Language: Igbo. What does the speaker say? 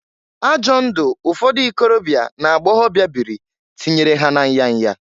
Ajọ ndụ ụfọdụ ikorobịa na agbọgọbịa bịrị tinyere ha na nyaya.